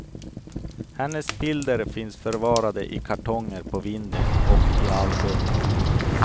Hennes bilder finns förvarade i kartonger på vinden och i album.